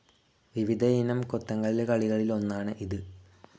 വിവിധ ഇനം കൊത്തങ്കല്ല് കളികളിലൊന്നാണ് ഇത്.